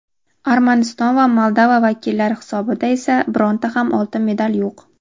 Armaniston va Moldova vakillari hisobida esa bironta ham oltin medal yo‘q.